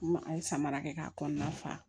An ye samara kɛ k'a kɔnɔna fa